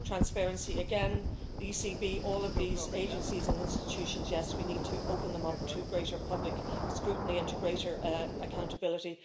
Transparency again the ECB, all of these agencies and institutions we need to open them up to greater public scrutiny into greater accountability.